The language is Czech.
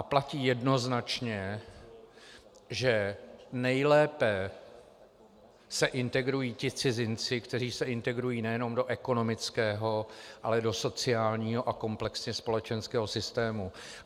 A platí jednoznačně, že nejlépe se integrují ti cizinci, kteří se integrují nejenom do ekonomického, ale do sociálního a komplexně společenského systému.